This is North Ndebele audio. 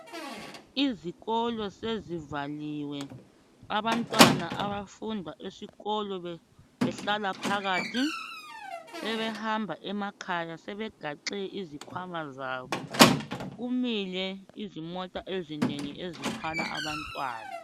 Izikolo sezivaliwe abantwana abafunda esikolo behlala phakathi sebehamba emakhaya sebegaxe izikhwama zabo kumile izimota ezinengi ezithwala abantwana.